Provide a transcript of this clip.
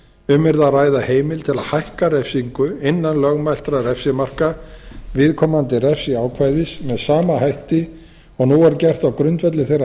um yrði að ræða heimild til að hækka refsingu innan lögmæltra refsimarka viðkomandi refsiákvæðis með sama hætti og nú er gert á grundvelli þeirra